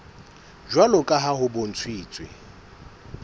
jwalo ka ha ho bontshitswe